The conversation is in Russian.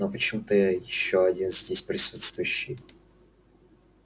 но почему-то ещё один здесь присутствующий